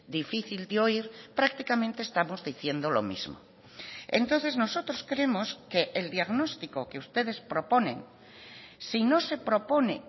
difícil de oír prácticamente estamos diciendo lo mismo entonces nosotros creemos que el diagnóstico que ustedes proponen si no se propone